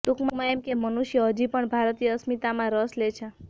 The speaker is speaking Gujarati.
ટૂંકમાં એમ કે મનુષ્ય હજુ પણ ભારતીય અસ્મિતામાં રસ લે છે